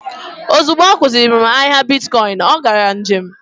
Ozugbo ọ kuziri m ahịa bitkọịnị, ọ gaa njem.